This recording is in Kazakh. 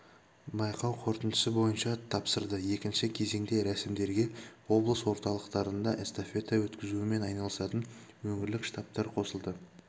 байқау қорытындысы бойынша тапсырды екінші кезеңде рәсімдерге облыс орталықтарында эстафета өткізумен айналысатын өңірлік штабтар қосылды